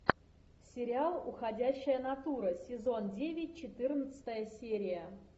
сериал уходящая натура сезон девять четырнадцатая серия